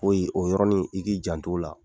O yɔrɔnin i k'i jant'o la.